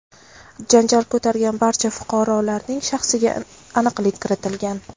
janjal ko‘targan barcha fuqarolarning shaxsiga aniqlik kiritilgan.